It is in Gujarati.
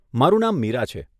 મારું નામ મીરા છે.